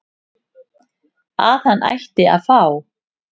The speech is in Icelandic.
að hann ætti að fá